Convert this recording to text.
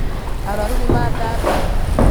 Arwaru nĩmathambio